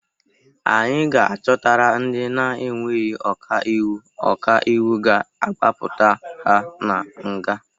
Anyị ga-achọtara ndị na-enweghi ọka iwu ọka iwụ ga-agbapụta ha na nga.